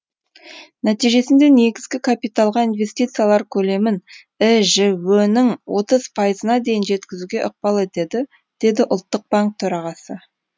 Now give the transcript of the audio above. нәтижесінде негізгі капиталға инвестициялар көлемін іжө нің отыз пайызына дейін жеткізуге ықпал етеді деді ұлттық банк төрағасы